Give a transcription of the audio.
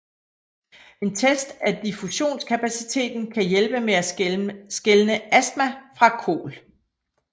En test af diffusionskapaciteten kan hjælpe med at skelne astma fra KOL